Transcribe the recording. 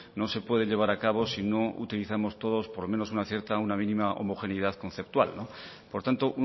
no se puede llevar a cabo si no utilizamos todos por lo menos una cierta una mínima homogeneidad conceptual por tanto